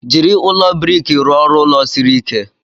Jiri ụlọ brik rụọ ọrụ ulo siri ike.